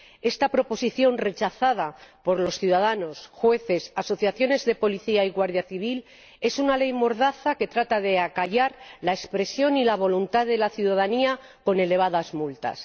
Esta proposición, rechazada por los ciudadanos, jueces, asociaciones de policía y guardia civil, es una ley mordaza que trata de acallar la expresión y la voluntad de la ciudadanía con elevadas multas.